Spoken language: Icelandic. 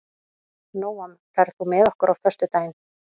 Nóam, ferð þú með okkur á föstudaginn?